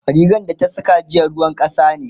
rigan da ta Saka jiya ruwan kasa ne